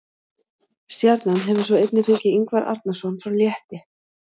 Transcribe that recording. Stjarnan hefur svo einnig fengið Ingvar Arnarson frá Létti.